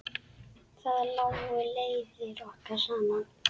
Þar lágu leiðir okkar saman.